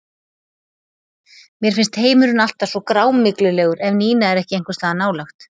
Mér finnst heimurinn alltaf svo grámyglulegur ef Nína er ekki einhvers staðar nálægt.